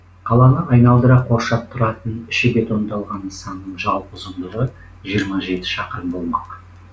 қаланы айналдыра қоршап тұратын іші бетондалған нысанның жалпы ұзындығы жиырма жеті шақырым болмақ